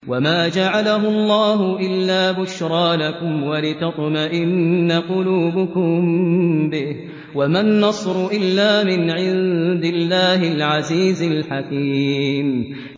وَمَا جَعَلَهُ اللَّهُ إِلَّا بُشْرَىٰ لَكُمْ وَلِتَطْمَئِنَّ قُلُوبُكُم بِهِ ۗ وَمَا النَّصْرُ إِلَّا مِنْ عِندِ اللَّهِ الْعَزِيزِ الْحَكِيمِ